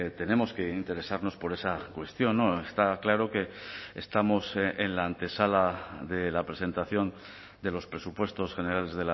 tenemos que interesarnos por esa cuestión está claro que estamos en la antesala de la presentación de los presupuestos generales